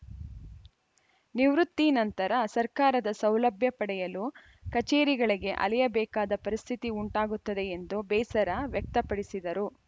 ನಿವೃತ್ತಿ ನಂತರ ಸರ್ಕಾರದ ಸೌಲಭ್ಯ ಪಡೆಯಲು ಕಚೇರಿಗಳಿಗೆ ಅಲೆಯಬೇಕಾದ ಪರಿಸ್ಥಿತಿ ಉಂಟಾಗುತ್ತದೆ ಎಂದು ಬೇಸರ ವ್ಯಕ್ತಪಡಿಸಿದರು